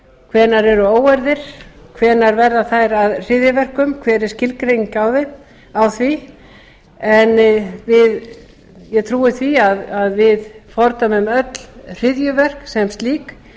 hvenær eru óeirðir hvenær verða þær að hryðjuverkum hver er skilgreining á því en ég trúi því að við fordæmum öll hryðjuverk sem slík